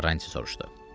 Karanti soruşdu.